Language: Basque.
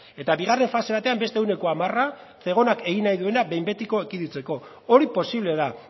eta bigarren fase batean beste ehuneko hamara zegonak egin nahi duena behin betiko ekiditeko hori posible da